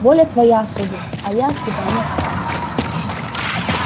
воля твоя сударь а я от тебя не отстану